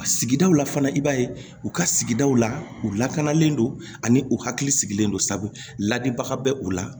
Sigidaw la fana i b'a ye u ka sigidaw la u lakanalen don ani u hakili sigilen don sa ladibaga bɛ u la